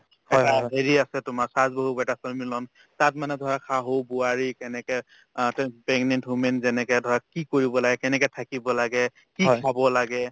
এটা হেৰি আছে তোমাৰ saas বাহু beta সন্মিলন তাত মানে ধৰা শাহু বোৱাৰী কেনেকে অ তে pregnant woman যেনেকে ধৰা কি কৰিব লাগে কেনেকে থাকিব লাগে কি খাব লাগে ?